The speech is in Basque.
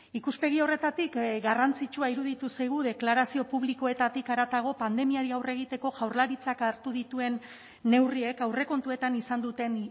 ikuspegi horretatik garrantzitsua iruditu zaigu deklarazio publikoetatik haratago pandemiari aurre egiteko jaurlaritzak hartu dituen neurriek aurrekontuetan izan duten